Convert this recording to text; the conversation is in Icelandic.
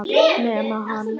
Nema hann.